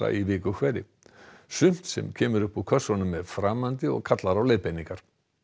í viku hverri sumt sem kemur upp úr kassanum er framandi og kallar á leiðbeiningar